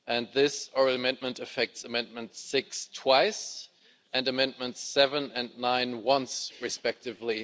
This oral amendment affects amendment 6 twice and amendments 7 and 9 once respectively.